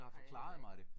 Har jeg heller ikke